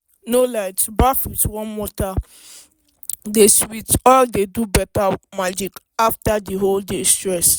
no lie to baff with warm water dey sweet dey do better magic after the whole day stress.